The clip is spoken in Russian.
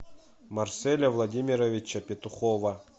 марселя владимировича петухова